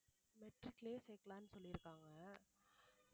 matric லயே சேக்கலாம்ன்னு சொல்லியிருக்காங்க